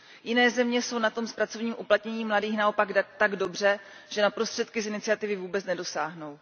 Jiné země jsou na tom s pracovním uplatněním mladých naopak tak dobře, že na prostředky z iniciativy vůbec nedosáhnou.